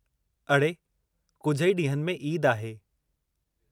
अड़े, कुझु ई ॾींहनि में ईद आहे।